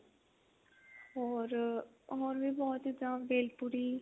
ਹੋਰ ਵੀ ਬਹੁਤ ਚੀਜ਼ਾਂ ਹੋਰ ਬੇਲ ਪੁਰੀ